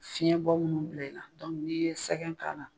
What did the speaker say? Fiyɛn bɔ munnu bila i la n'i ye sɛgɛn k'a la.